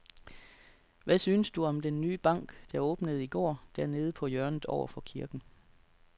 Hvad synes du om den nye bank, der åbnede i går dernede på hjørnet over for kirken?